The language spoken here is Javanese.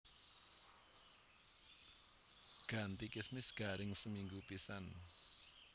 Ganti kismis garing seminggu pisan